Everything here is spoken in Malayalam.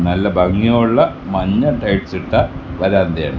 നല്ല ഭംഗിയുള്ള മഞ്ഞ ടൈൽസ് ഇട്ട വരാന്തയാണ്.